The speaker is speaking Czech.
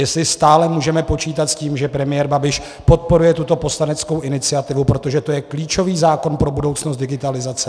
Jestli stále můžeme počítat s tím, že premiér Babiš podporuje tuto poslaneckou iniciativu, protože to je klíčový zákon pro budoucnost digitalizace.